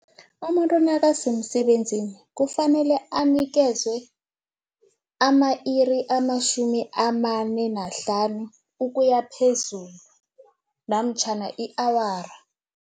Umuntu nakasemsebenzini, kufanele anikezwe ama-iri amatjhumi amane nahlanu ukuya phezulu namtjhana i-awara.